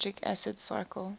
citric acid cycle